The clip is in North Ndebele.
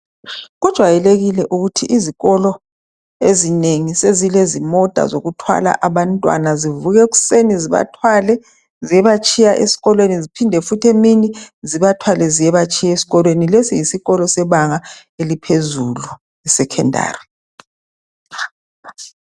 Kujwayelekile ukuthi izikolo ezinengi sezilezimota zokuthwala abantwana. Zivuka ekuseni zibathwale ziyebatshiya esikolweni ziphinde futhi emini zibathwale ziyebatshiya ngekhaya. Lesi yisikolo sebanga eliphezulu secondary.